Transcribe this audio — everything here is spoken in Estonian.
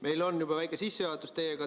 Meil on juba väike sissejuhatus teiega tehtud.